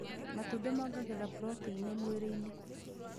Matumbĩ mongagĩrira proteinĩ mwirĩinĩ